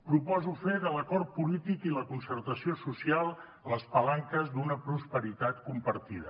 proposo fer de l’acord polític i la concertació social les palanques d’una prosperitat compartida